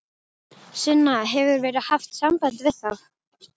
Sunna: Hefur verið haft samband við þá?